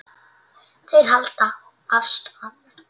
Þeir halda af stað.